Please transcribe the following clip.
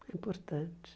É importante.